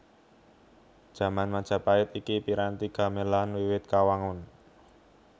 Jaman Majapahit iki piranti gamelan wiwit kawangun